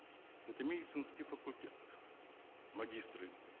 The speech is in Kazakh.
это медицинский факультет магистры